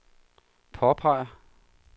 påpeger